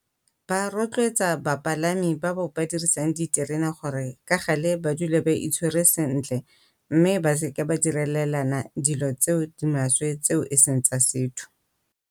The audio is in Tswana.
Ba rotloetsa bapalami ba ba dirisang diterena gore ka gale ba dule ba itshwere sentle mme ba seke ba direlelana dilo tse di maswe tse e seng tsa setho.